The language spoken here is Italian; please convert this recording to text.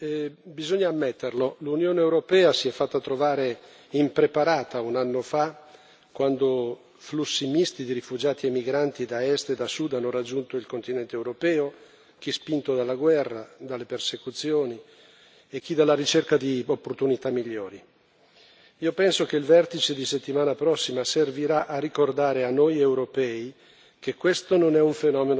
Signora Presidente, onorevoli colleghi, bisogna ammetterlo l'Unione europea si è fatta trovare impreparata un anno fa quando flussi misti di rifugiati e migranti da est e da sud hanno raggiunto il continente europeo, chi spinto dalla guerra, dalle persecuzioni, e chi dalla ricerca di opportunità migliori. Io penso che il vertice della settimana prossima servirà a ricordare a noi europei